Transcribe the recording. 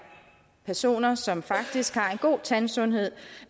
personer som faktisk har en god tandsundhed